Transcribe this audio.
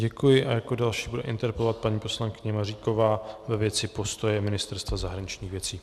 Děkuji a jako další bude interpelovat paní poslankyně Maříková ve věci postoje Ministerstva zahraničních věcí.